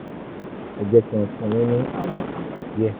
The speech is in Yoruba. ọmọ náà um yóò jẹun dáadáa dáadáa nísinsinyìí nítorí pé um ó ti bọ́ lọ́wọ́ àìsàn um